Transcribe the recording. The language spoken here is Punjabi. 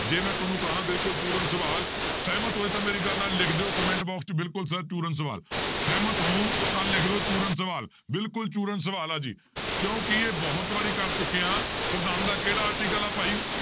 ਜੇ ਮੈਂ ਤੁਹਾਨੂੰ ਕਹਾਂ ਬਿਲਕੁਲ ਪੂਰਨ ਸਵਾਲ ਸਹਿਮਤ ਹੋਏ ਤਾਂ ਮੇਰੀ ਗੱਲ ਨਾਲ ਲਿਖ ਦਿਓ comment box 'ਚ ਬਿਲਕੁਲ sir ਪੂਰਨ ਸਵਾਲ ਸਹਿਮਤ ਹੋ ਤਾਂ ਲਿਖ ਦਿਓ ਪੂਰਨ ਸਵਾਲ ਬਿਲਕੁਲ ਪੂਰਨ ਸਵਾਲ ਆ ਜੀ, ਕਿਉਂਕਿ ਇਹ ਬਹੁਤ ਵਾਰੀ ਕਰ ਚੁੱਕੇ ਹਾਂ ਸਵਿਧਾਨ ਦਾ ਕਿਹੜਾ article ਆ ਭਾਈ